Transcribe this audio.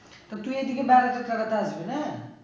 তো তুই এদিকে বাড়িতে ফেরত আসবি না?